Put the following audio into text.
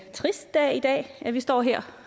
trist dag i dag at vi står her